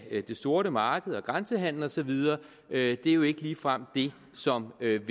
det sorte marked og grænsehandel og så videre er jo ikke ligefrem det som vil